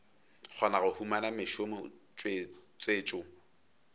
kgona go humana mešomo tswetšo